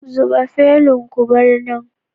Zuba felun ku bar nan